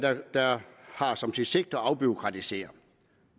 der har som sit sigte at afbureaukratisere